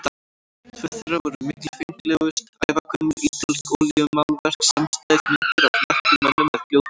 Tvö þeirra voru mikilfenglegust, ævagömul ítölsk olíumálverk samstæð, myndir af nöktum mönnum með hljóðfæri.